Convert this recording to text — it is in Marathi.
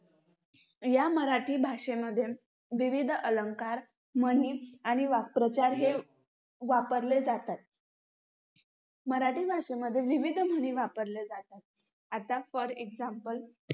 या मराठी भाषेमध्ये विविध अलंकार, म्हणी आणि वाक्प्रचार हे वापरले जातात. मराठी भाषेमध्ये विविध म्हणी वापरल्या जातात. आता for example